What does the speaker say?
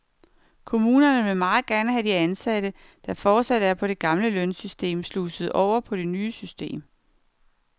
Kommunerne vil meget gerne have de ansatte, der fortsat er på det gamle lønsystem, sluset over på det nye system.